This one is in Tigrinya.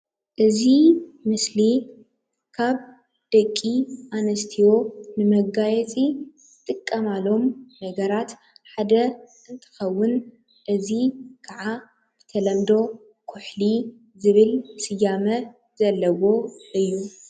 እዚ ምስሊ ካብ ደቂ ኣንስትዮ ንመጋየፂ ዝጥቀማሎም ነገራት ሓደ እንትኸዉን እዚ ከዓ ብተለምዶ ኩሕሊ ዝብል ስያመ ዘለዎ እዩ፡፡